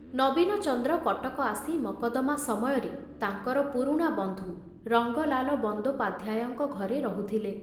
ନବୀନଚନ୍ଦ୍ର କଟକ ଆସି ମକଦ୍ଦମା ସମୟରେ ତାଙ୍କର ପୁରୁଣା ବନ୍ଧୁ ରଙ୍ଗଲାଲ ବନ୍ଦୋପାଧ୍ୟାୟଙ୍କ ଘରେ ରହୁଥିଲେ।